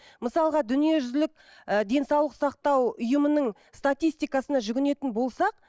мысалға дүниежүзілік ы денсаулық сақтау ұйымының статистикасына жүгінетін болсақ